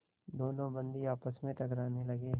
दोनों बंदी आपस में टकराने लगे